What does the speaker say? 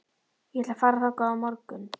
Ég ætla að fara þangað á morgun.